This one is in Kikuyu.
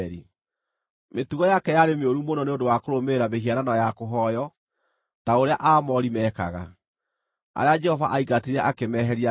Mĩtugo yake yarĩ mĩũru mũno nĩ ũndũ wa kũrũmĩrĩra mĩhianano ya kũhooywo ta ũrĩa Aamori meekaga, arĩa Jehova aingatire akĩmeheria mbere ya Isiraeli.)